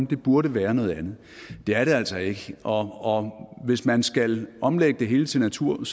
det burde være noget andet det er det altså ikke og hvis man skal omlægge det hele til natur